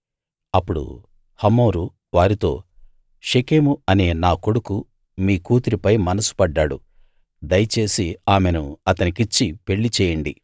అప్పుడు హమోరు వారితో షెకెము అనే నా కొడుకు మీ కూతురిపై మనసు పడ్డాడు దయచేసి ఆమెను అతనికిచ్చి పెళ్ళి చేయండి